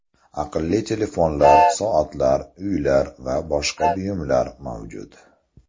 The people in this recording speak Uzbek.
Aqlli telefonlar, soatlar, uylar va boshqa buyumlar mavjud.